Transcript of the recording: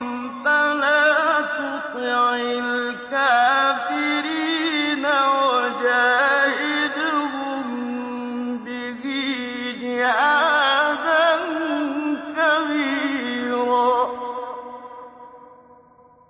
فَلَا تُطِعِ الْكَافِرِينَ وَجَاهِدْهُم بِهِ جِهَادًا كَبِيرًا